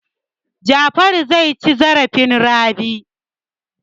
Jafaru zai ci zarafin Rabi.